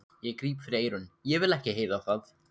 Ég gríp fyrir eyrun, ég vil ekki heyra það!